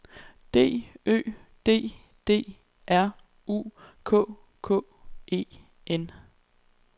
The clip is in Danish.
D Ø D D R U K K E N